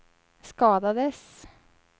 skadades